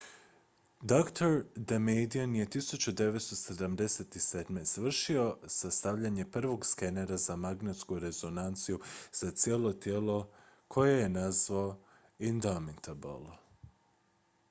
dr damadian je 1977. završio sastavljanje prvog skenera za magnetsku rezonanciju za cijelo tijelo koji je nazvao indomitable